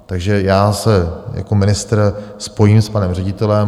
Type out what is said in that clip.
Takže já se jako ministr spojím s panem ředitelem.